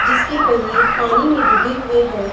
जिसके पहिये पानी में डूबे हुए हैं।